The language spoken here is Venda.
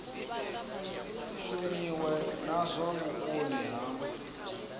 shumiwe na zwa vhukoni ha